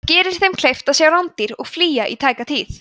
það gerir þeim kleift að sjá rándýr og flýja í tæka tíð